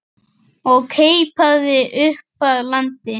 og keipaði upp að landi.